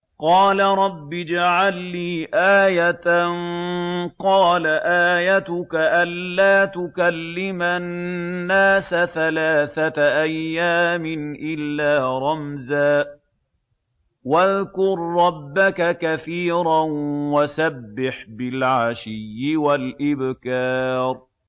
قَالَ رَبِّ اجْعَل لِّي آيَةً ۖ قَالَ آيَتُكَ أَلَّا تُكَلِّمَ النَّاسَ ثَلَاثَةَ أَيَّامٍ إِلَّا رَمْزًا ۗ وَاذْكُر رَّبَّكَ كَثِيرًا وَسَبِّحْ بِالْعَشِيِّ وَالْإِبْكَارِ